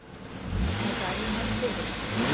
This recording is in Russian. наталья марселевна